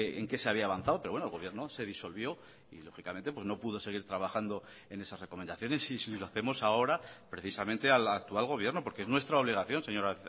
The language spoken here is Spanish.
en qué se había avanzado pero bueno el gobierno se disolvió y lógicamente no pudo seguir trabajando en esas recomendaciones y si lo hacemos ahora precisamente al actual gobierno porque es nuestra obligación señora